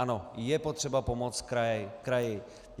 Ano, je potřeba pomoct kraji.